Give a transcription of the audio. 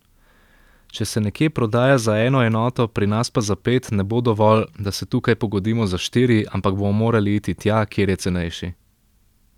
Če se nekje prodaja za eno enoto, pri nas pa za pet, ne bo dovolj, da se tukaj pogodimo za štiri, ampak bomo morali iti tja, kjer je cenejši.